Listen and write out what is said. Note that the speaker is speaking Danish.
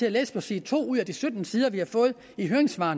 at læse side to af de sytten sider vi har fået med høringssvar